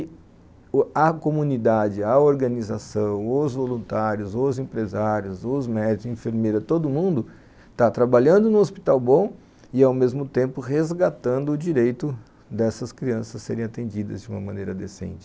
E a comunidade, a organização, os voluntários, os empresários, os médicos, enfermeiras, todo mundo está trabalhando num hospital bom e, ao mesmo tempo, resgatando o direito dessas crianças serem atendidas de uma maneira decente.